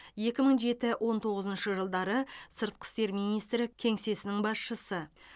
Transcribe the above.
екі мың жеті он тоғызыншы жылдары сыртқы істер министрі кеңсесінің басшысы